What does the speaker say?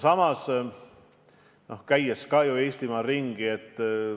Samas, ma ju käin ka Eestimaal ringi.